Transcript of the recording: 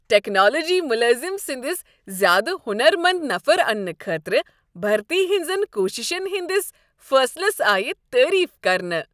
Technology ملٲزم سنِٛدس زیادٕ ہنر منٛد نفر انٛنہٕ خٲطرٕ بھرتی ہنزن كوٗششین ہندِس فٲصلس آیہ تعریف كرنہٕ ۔